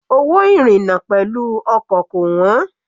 Owó ìrìna pẹ̀lú ọkọ̀ kò wọ́n.